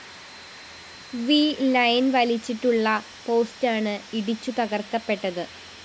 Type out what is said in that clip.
V line വലിച്ചിട്ടുള്ള പോസ്റ്റാണ് ഇടിച്ചു തകര്‍ക്കപ്പെട്ടത്